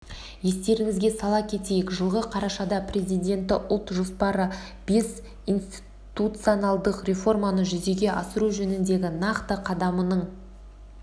естеріңізге сала кетейік жылғы қарашада президенті ұлт жоспары бес институционалдық реформаны жүзеге асыру жөніндегі нақты қадамының